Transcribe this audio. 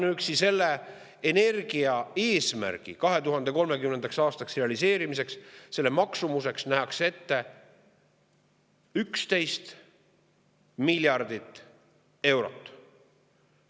Ainuüksi selle energiaeesmärgi 2030. aastaks realiseerimise maksumuseks nähakse ette 11 miljardit eurot.